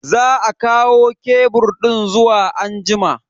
Za a kawo kebur din zuwa anjima.